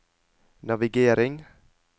navigering